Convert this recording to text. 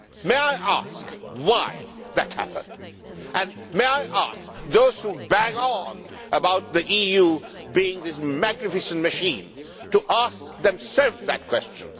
May I ask why that happened? May I ask those who bang on about the EU being this magnificent machine to ask themselves that question?